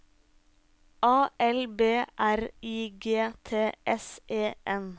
A L B R I G T S E N